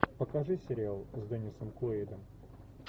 покажи сериал с деннисом куэйдом